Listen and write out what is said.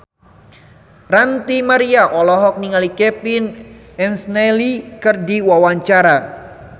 Ranty Maria olohok ningali Kevin McNally keur diwawancara